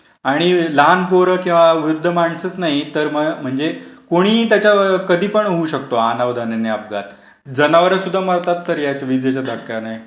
आणि लहान पोरं किंवा वृद्ध माणसाचं नाही, तर म्हणजे कोणी त्याचा कधी पण होऊ शकतो अनाधाने अपघात. जनावर सुद्धा मरतात तर या विजेच्या धक्क्याने.